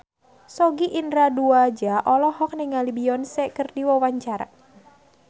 Sogi Indra Duaja olohok ningali Beyonce keur diwawancara